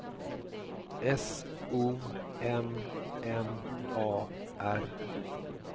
S O M M A R